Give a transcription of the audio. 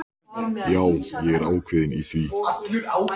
Já, ég er ákveðinn í því.